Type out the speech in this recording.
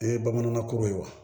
O ye bamanankan ko ye wa